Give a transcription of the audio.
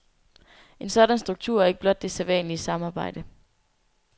En sådan struktur er ikke blot det sædvanlige samarbejde.